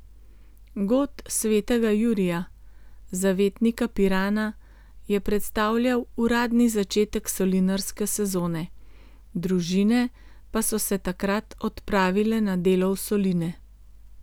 God svetega Jurija, zavetnika Pirana, je predstavljal uradni začetek solinarske sezone, družine pa so se takrat odpravile na delo v soline.